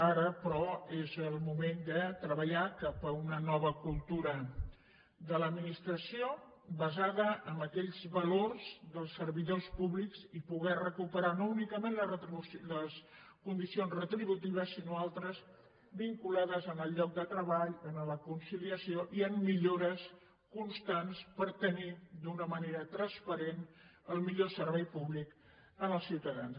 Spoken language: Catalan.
ara però és el moment de treballar cap a una nova cultura de l’administració basada en aquells valors dels servidors públics i poder recuperar no únicament les condi cions retributives sinó altres vinculades al lloc de treball a la conciliació i a millores constants per tenir d’una manera transparent el millor servei públic als ciutadans